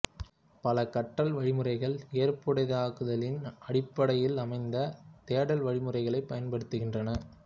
பல கற்றல் வழிமுறைகள் ஏற்புடையதாக்குதலின் அடிப்படையிலமைந்த தேடல் வழிமுறைகளைப் பயன்படுத்துகின்றன